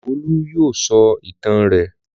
Olú yóò sọ ìtàn rẹ̀.